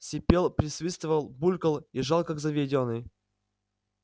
сипел присвистывал булькал и жал как заведённый